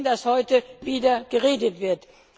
Wir sehen, dass heute wieder geredet wird.